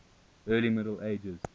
early middle ages